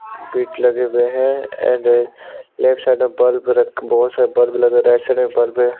Bit लगे हुए है एंड लेफ्ट साइड बल्ब लगे बहुत सारे बल्ब लगे है राईट साइड में बल्ब है।